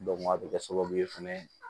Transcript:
a bɛ kɛ sababu ye fɛnɛ